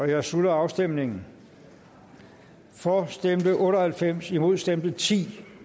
jeg slutter afstemningen for stemte otte og halvfems imod stemte ti